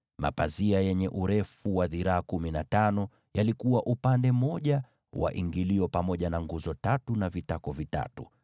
Mapazia yenye urefu wa dhiraa kumi na tano yalikuwa upande mmoja wa ingilio, pamoja na nguzo tatu na vitako vitatu.